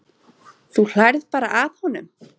Þú hlærð bara að honum.